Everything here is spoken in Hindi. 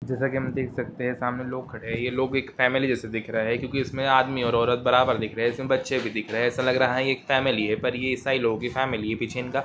जैसे की हम देख सकते है सामने लोग खड़े है ये लोग एक फेमिली जैसे दिख रहे है क्यों की इसमें आदमी और औरत बराबर दिख रहे है इसमें बच्चे भी दिख रहे है ऐसा लग रहा है की ये एक फैमिली है पर ये ईसाई लोगो की फेमिली है पीछे इनका--